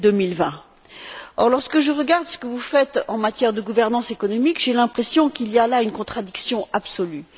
2020. Or, lorsque je regarde ce que vous faites en matière de gouvernance économique, j'ai l'impression qu'il y a là une contradiction absolue.